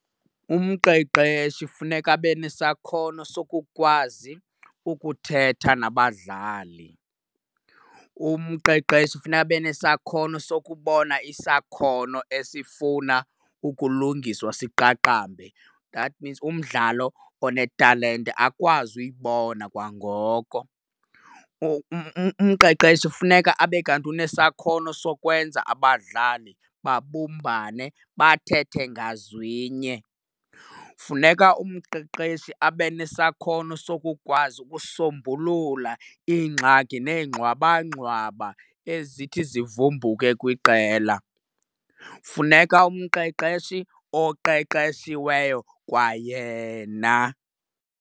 Umqeqeshi funeka abe nesakhono sokukwazi ukuthetha nabadlali. Umqeqeshi funeka abe nesakhono sukubona isakhono esifuna ukulungiswa siqaqambe, that means umdlalo onetalente akwazi uyibona kwangoko. Umqeqeshi kufuneka abe kanti unesakhono sokwenza abadlali babumbane bathethe ngazwinye. Funeka umqeqeshi abe nesakhono sokukwazi ukusombulula iingxaki nengxwabangxwaba ezithi zivumbuke kwiqela. Funeka umqeqeshi oqeqeshiweyo kwayena.